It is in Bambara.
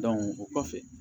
o kɔfɛ